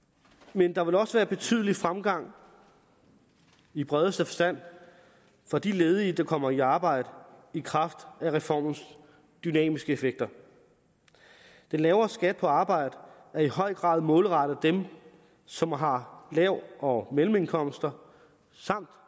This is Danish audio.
men der vil også være betydelig fremgang i bredeste forstand for de ledige der kommer i arbejde i kraft af reformens dynamiske effekter den lavere skat på arbejde er i høj grad målrettet dem som har lav og mellemindkomster samt